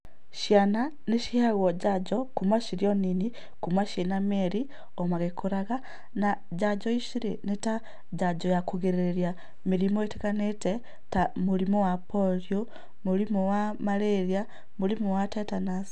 Ciana nĩ ciheagwo njanjo kuuma cirĩ o nini, kuuma ciĩna mĩeri, o magĩkũraga, na njanjo ici rĩ, nĩ ta njanjo ya kũrigĩrĩria mĩrimũ ĩtiganĩte, ta mũrimũ wa Polio, mũrimũ wa Marĩria, mũrimũ wa Tetenus.